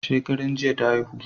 Shekaran jiya ta haihu